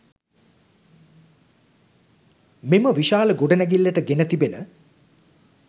මෙම විශාල ගොඩනැඟිල්ලට ගෙන තිබෙන